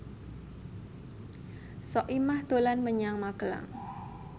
Soimah dolan menyang Magelang